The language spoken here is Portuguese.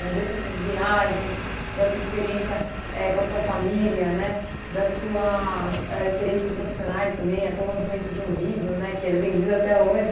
Né, desde dessas viagens, da sua experiência éh com a sua família, né, das suas éh experiências profissionais também, até o lançamento de um livro, né, que ele é vendido até hoje.